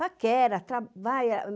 Paquera, trabalha.